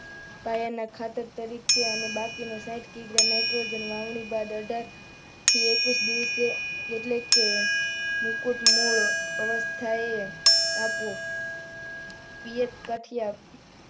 પાયાના ખાતર તરીકે અને બાકીનું સાહિથ કિગ્રા નાઇટ્રોજન વાવણી બાદ અઢારથી એકવીસ દિવસે એટલે કે મુકુટ મૂળ અવસ્થાએ આપવું પીયતકાઠીયા